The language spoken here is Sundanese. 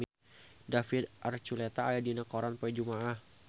David Archuletta aya dina koran poe Jumaah